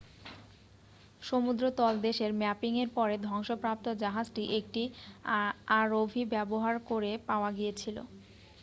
সমুদ্র তলদেশের ম্যাপিংয়ের পরে ধ্বংসপ্রাপ্ত জাহাজটি একটি আরওভি ব্যবহার করে পাওয়া গিয়েছিল